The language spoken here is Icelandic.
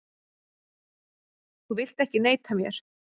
Þú vilt ekki neita mér.